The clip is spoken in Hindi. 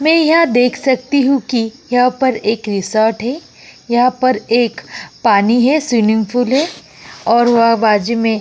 मैं यह देख सकती हूं कि यहाँ पर एक रिसॉर्ट है यहाँ पर एक पानी है स्विमिंग पूल है और वह बाजू में --